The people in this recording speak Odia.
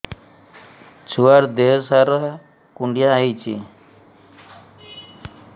ଛୁଆର୍ ଦିହ ସାରା କୁଣ୍ଡିଆ ହେଇଚି